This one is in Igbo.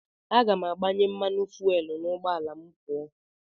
Aga m agbanye mmanụ fuwel n'ụgbọala ma m pụọ.